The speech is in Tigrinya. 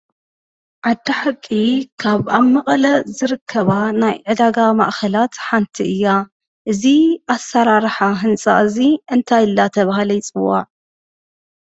ዓዲ ሓቂ ካብ ኣብ መቐለ ዝርከባ ናይ ዕዳጋ ማእኸላት ሓንቲ እያ። እዚ ኣሰራርሓ ህንፃ እዚ እንታይ እናተብሃለ ይፅዋዕ?